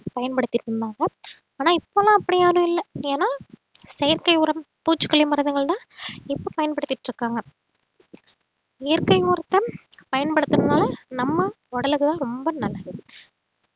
பயன்படுத்திட்டு இருந்தாங்க ஆனா இப்ப எல்லாம் அப்படி யாரும் இல்லை ஏன்னா செயற்கை உரம் பூச்சிக்கொல்லி மருந்துகள்தான் இப்ப பயன்படுத்திட்டு இருக்காங்க இயற்கை உரத்த பயன்படுத்துறதால நம்ம உடலுக்கு தான் ரொம்ப நல்லது